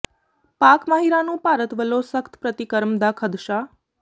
ਪਾਕਿ ਮਾਹਿਰਾਂ ਨੂੰ ਭਾਰਤ ਵੱਲੋਂ ਸਖ਼ਤ ਪ੍ਰਤੀਕਰਮ ਦਾ ਖ਼ਦਸ਼ਾ